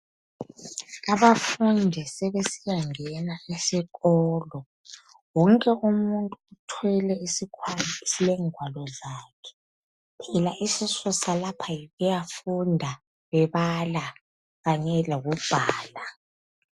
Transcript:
Abafundi sebesiyangena esikolo. Wonke umuntu uthwele isikhwama esilengwalo zakhe. Phela isisusa lapha yikuyafunda bebala Kanye lokubhala.